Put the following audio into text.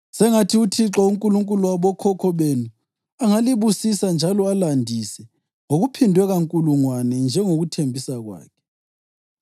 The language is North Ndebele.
Sengathi uThixo, uNkulunkulu wabokhokho benu, angalibusisa njalo alandise ngokuphindwe kankulungwane njengokuthembisa kwakhe!